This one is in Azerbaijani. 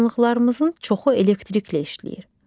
Avadanlıqlarımızın çoxu elektriklə işləyir.